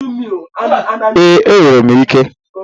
Ee, enwere m ike.